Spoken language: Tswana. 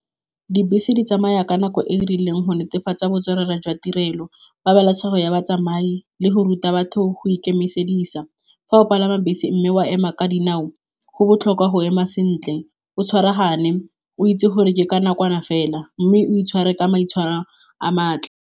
Dibese di tsamaya ka nako e rileng go netefatsa botswerere jwa tirelo, pabalesego ya batsamai le go ruta batho go ikemisedisa. Fa o palama bese mme wa ema ka dinao go botlhokwa go ema sentle o tshwaragane o itse gore ke ka nakwana fela, mme o itshware ka maitshwaro a .